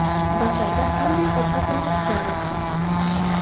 Bahorda qanday ovqatlanish zarur?.